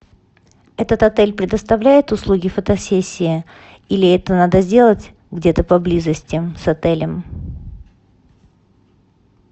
этот отель предоставляет услуги фотосессии или это надо сделать где то поблизости с отелем